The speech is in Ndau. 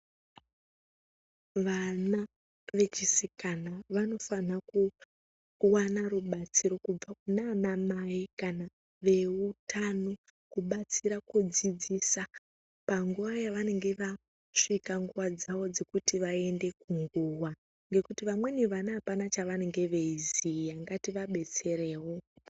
Vana vechisikana vanofana kuwana rubatsiro kubva kunanamai kana veutano, kubatsira kudzidzisa panguwa yavange vasvika nguva dzavo dzekuti vayende kunguwa ,ngekuti vamweni vana apana chavanenge veyiziya ngativabetserewo.